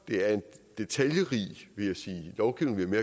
det er en detaljerig lovgivning vil